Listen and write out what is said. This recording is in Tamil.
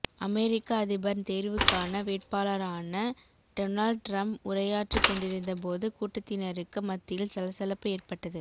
அமெரிக்க அதிபர் தேர்வுக்கான வேட்பளாரான டொனால்ட் ட்ரும்ப் உரையாற்றிக் கொண்டிருந்த போது கூட்டத்தினருக்கு மத்தியில் சலசலப்பு ஏற்பட்டது